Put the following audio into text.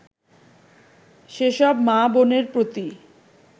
সেসব মা-বোনের প্রতি